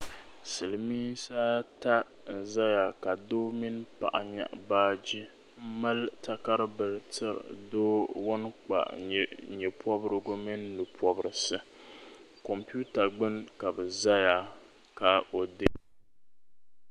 silimiinsi ata n-zaya ka doo mini paɣa nyaɣi baaji m-mali takar' bila tiri doo ŋun kpa nye' pɔbirigu mini nu' pɔbirisi kompiuta gbunni ka bɛ ʒeya ka o deei.